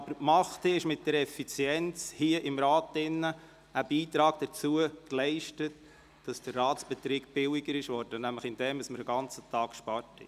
Allerdings haben wir mit unserer Effizienz hier im Rat einen Beitrag dazu geleistet, dass der Ratsbetrieb billiger geworden ist, nämlich dadurch, dass wir einen ganzen Tag eingespart haben.